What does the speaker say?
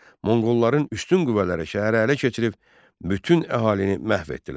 Monqolların üstün qüvvələri şəhəri ələ keçirib, bütün əhalini məhv etdilər.